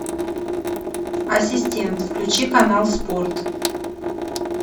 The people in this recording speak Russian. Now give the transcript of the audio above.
ассистент включи канал спорт